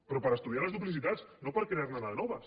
però per estudiar les duplicitats no per crear ne de noves